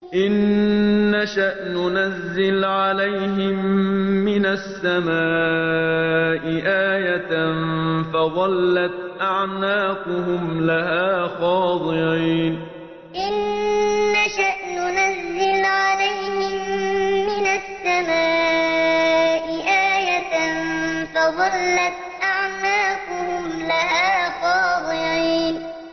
إِن نَّشَأْ نُنَزِّلْ عَلَيْهِم مِّنَ السَّمَاءِ آيَةً فَظَلَّتْ أَعْنَاقُهُمْ لَهَا خَاضِعِينَ إِن نَّشَأْ نُنَزِّلْ عَلَيْهِم مِّنَ السَّمَاءِ آيَةً فَظَلَّتْ أَعْنَاقُهُمْ لَهَا خَاضِعِينَ